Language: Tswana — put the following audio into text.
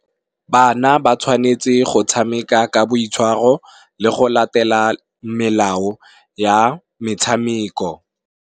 Bana ba tshwanetse go tshameka ka boitshwaro, le go latela melao ya metshameko.